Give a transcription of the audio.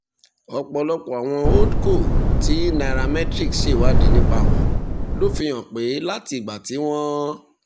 ọ̀pọ̀lọpọ̀ àwọn holdco tí nairametrics ṣèwádìí nípa wọn ló fi hàn pé láti ìgbà tí wọ́n